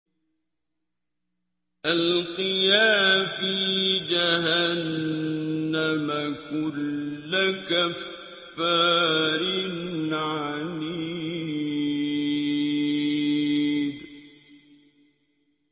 أَلْقِيَا فِي جَهَنَّمَ كُلَّ كَفَّارٍ عَنِيدٍ